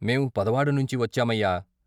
మేం పదవాడ నుంచి వచ్చామయ్యా.